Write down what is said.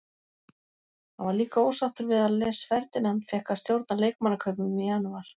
Hann var líka ósáttur við að Les Ferdinand fékk að stjórna leikmannakaupum í janúar.